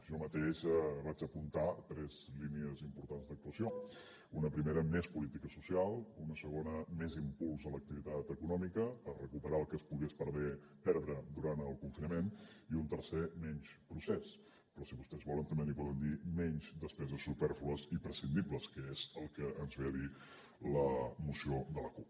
jo mateix vaig apuntar tres línies importants d’actuació una primera més política social una segona més impuls a l’activitat econòmica per recuperar el que es pogués perdre durant el confinament i una tercera menys procés però si vostès volen també n’hi poden dir menys despeses supèrflues i prescindibles que és el que ens ve a dir la moció de la cup